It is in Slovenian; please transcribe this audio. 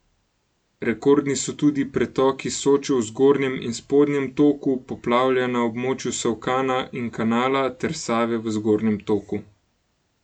Rekordni so tudi pretoki Soče v zgornjem in spodnjem toku, poplavlja na območju Solkana in Kanala, ter Save v zgornjem toku.